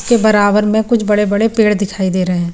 उसके बराबर में कुछ बड़े-बड़े पेड़ दिखाई दे रहे हैं।